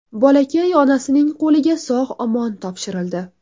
Bolakay onasining qo‘liga sog‘-omon topshirildi.